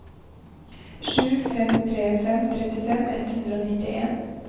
sju fem tre fem trettifem ett hundre og nittien